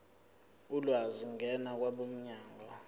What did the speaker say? ulwazi ngena kwabomnyango